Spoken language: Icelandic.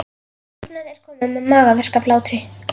Vinkonan er komin með magaverk af hlátri.